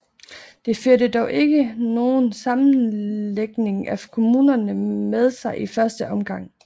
Det førte dog ikke nogen sammenlægning af kommunerne med sig i første omgang